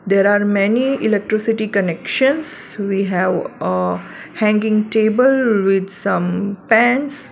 there are many electricity connections we have a hanging table with some pans.